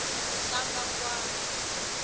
hlabangwani